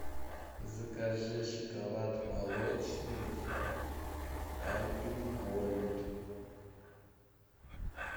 закажи шоколад молочный альпен гольд